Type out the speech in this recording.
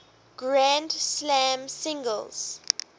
grand slam singles